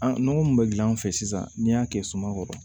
An nɔgɔ mun bɛ gilan an fɛ sisan n'i y'a kɛ suma kɔrɔ